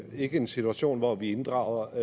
ikke en situation hvor vi inddrager